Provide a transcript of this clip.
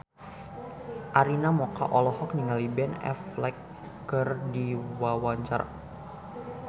Arina Mocca olohok ningali Ben Affleck keur diwawancara